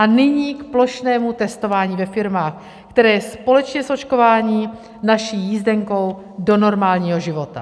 A nyní k plošnému testování ve firmách, které je společně s očkováním naší jízdenkou do normálního života.